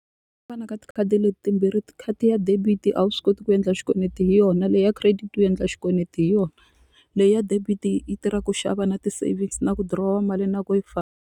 ka ti khadi leti timbirhi ti khadi ra debit a wu swi koti ku endla xikweleti hi yona leyi ya credit u endla xikweleti hi yona leyi ya debit yi tirhaka ku xava na ti-savings na ku dirowa mali na ku yi famba.